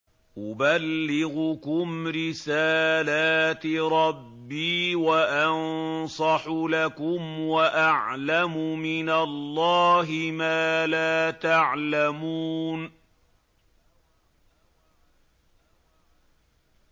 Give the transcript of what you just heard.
أُبَلِّغُكُمْ رِسَالَاتِ رَبِّي وَأَنصَحُ لَكُمْ وَأَعْلَمُ مِنَ اللَّهِ مَا لَا تَعْلَمُونَ